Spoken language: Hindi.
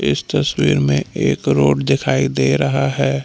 इस तस्वीर में एक रोड दिखाई दे रहा है।